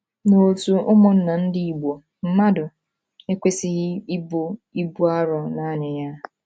N’òtù ụmụnna ndi Igbo, mmadụ ekwesịghị ibu ibu arọ nanị ya.